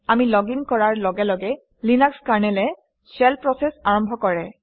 আমি লগিন কৰাৰ লগে লগে লিনাক্স কাৰনেলে শেল প্ৰচেছ আৰম্ভ কৰে